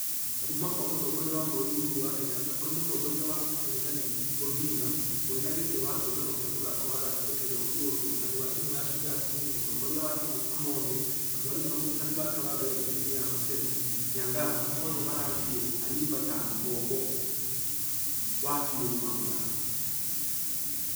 Kuumakwamũtongoria wa bũrũri uhuru wa kenyatta kũrĩ mũtongoria wa ũngethanĩri odinga , mwenegĩtĩ wa kĩũngano gĩa mũthako wa rugby kenya oduor. Mũrutani wa timũ ya shujaa simiyu , mũtongoria wa timũ amonde na mwarimũ na mũrutani wake wa mbere thukuru-inĩ ya maseno nyangaga othe maraarĩrĩirie ayimba ta ngombo wa biũ wa mũthako.